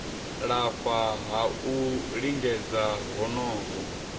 lafha ha u lingedza honoho